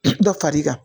Dɔ far'i kan